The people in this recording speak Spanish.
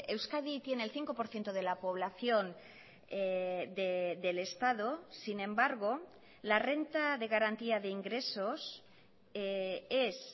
euskadi tiene el cinco por ciento de la población del estado sin embargo la renta de garantía de ingresos es